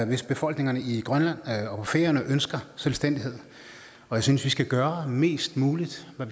hvis befolkningerne i grønland og på færøerne ønsker selvstændighed og jeg synes vi skal gøre mest muligt og